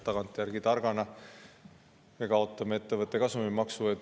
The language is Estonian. Tagantjärgi targana me kaotame ettevõtte kasumimaksu.